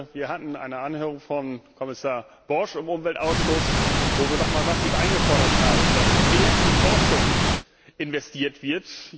Wir hatten eine Anhörung von Kommissar Borg im Umweltausschuss, wo wir noch einmal massiv gefordert haben, dass mehr in Forschung investiert wird.